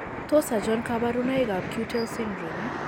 Tos achon kabarunaik ab Keutel syndrome ?